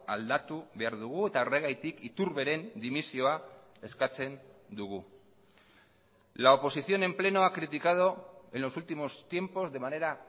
aldatu behar dugu eta horregatik iturberen dimisioa eskatzen dugu la oposición en pleno ha criticado en los últimos tiempos de manera